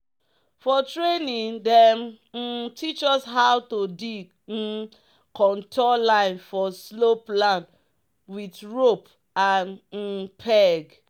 "for training dem um teach us how to dig um contour line for slope land with rope and um peg."